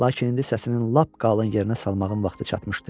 Lakin indi səsinin lap qalın yerinə salmağın vaxtı çatmışdı.